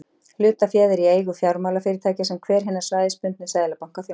hlutaféð er í eigu fjármálafyrirtækja sem hver hinna svæðisbundnu seðlabanka þjónar